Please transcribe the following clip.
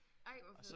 Ej hvor fedt!